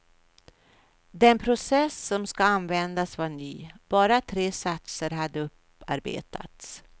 Den process som användes var ny, bara tre satser hade upparbetats.